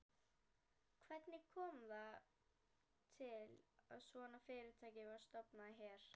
Hvernig kom það til að svona fyrirtæki var stofnað hér?